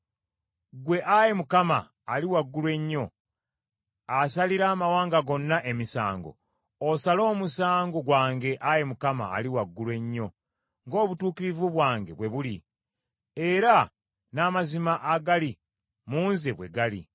Ggwe, Ayi Mukama , Ali Waggulu Ennyo, asalira amawanga gonna emisango, osale omusango gwange Ayi Mukama Ali Waggulu Ennyo ng’obutuukirivu bwange bwe buli, era n’amazima agali mu nze bwe gali.